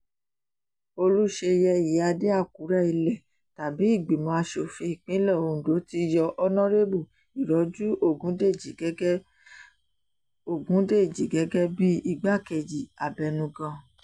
olùṣeyẹ ìyíáde àkùrẹ ilẹ̀ tabi ìgbìmọ̀ asòfin ìpínlẹ̀ ondo ti yọ ọ̀nọ́rẹ́bù ìrọ́jú ọ̀gúndéjì gẹ́gẹ́ ọ̀gúndéjì gẹ́gẹ́ bíi igbákejì abẹnugan